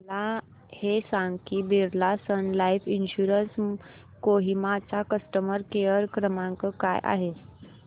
मला हे सांग की Birla sun life insurance Kohima चा कस्टमर केअर क्रमांक काय आहे